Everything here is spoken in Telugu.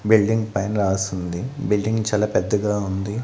బిల్డింగ్ పైన రాసుంది బిల్డింగ్ చాలా పెద్దగా ఉంది.